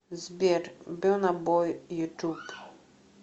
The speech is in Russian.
сбер берна бой ютуб